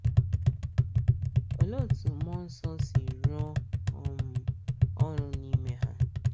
Oléé etú mmụọ nsọ si rụọ um ọrụ n’ime ha?